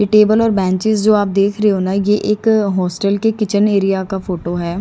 ये टेबल और बेंचेज जो आप देख रहे हो ना ये एक हॉस्टल के किचन एरिया का फोटो है।